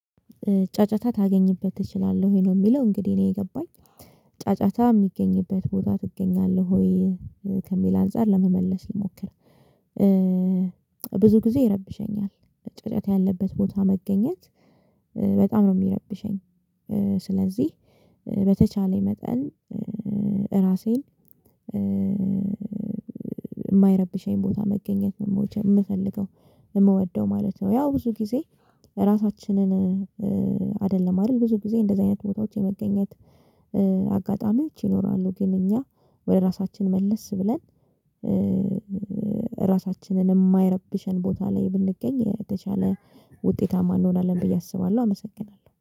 ጫጫታ ታገኝበት ትችላለህ ወይ ነው የሚለው እንግዲህ እኔ የገባኝ ጫጫታ የሚገኝበት ቦታ ትገኛለህ ወይ ከሚል አንፃር ለመመለስ ልሞክር። ብዙ ጊዜ ይረብሸኛል ጫጫታ ያለበት ቦታ መገኘት በጣም ነው የሚረብሸኝ። ስለዚህ በተቻለኝ መጠን ራሴን የማይረብሸኝ ቦታ መገኘት ነው መቼም የምፈልገው የምወደው ማለት ነው። ያው ብዙ ጊዜ ራሳችንን አይደለም አይደል ብዙ ጊዜ እንደዚህ አይነት ቦታዎች የመገኘት አጋጣሚዎች ይኖራሉ። ግን እኛ ወደ ራሳችን መልስ ብለን ራሳችንን የማይረብሸን ቦታ ላይ ብንገኝ የተሻለ ውጤታማ እንሆናለን ብዬ አስባለሁ። አመሰግናለሁ